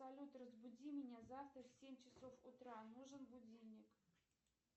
салют разбуди меня завтра в семь часов утра нужен будильник